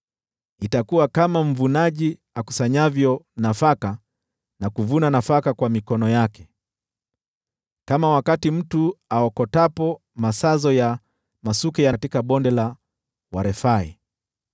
Itakuwa kama mvunaji akusanyavyo nafaka na kuvuna nafaka kwa mikono yake, kama wakati mtu aokotapo masazo ya masuke katika Bonde la Warefai.